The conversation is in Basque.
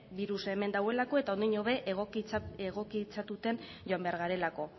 birus hemen dagoelako eta ondiño be egokitzatuten joan behar garelako